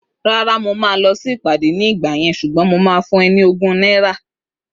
Rárá, mo máa lọ sí ìpàdé ní ìgbà yẹn ṣùgbọ́n mo lè fún o ní ogún náírà